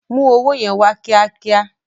Mú owó yẹn wá kíá kíá.